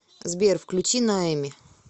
сбер включи ноэми